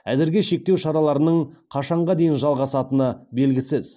әзірге шектеу шараларының қашанға дейін жалғасатыны белгісіз